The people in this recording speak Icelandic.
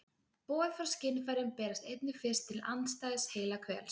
Boð frá skynfærum berast einnig fyrst til andstæðs heilahvels.